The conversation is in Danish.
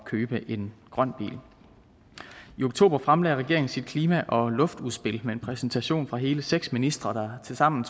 købe en grøn bil i oktober fremlagde regeringen sit klima og luftudspil med en præsentation fra hele seks ministre der tilsammen